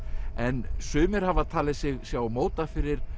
en sumir hafa talið sig sjá móta fyrir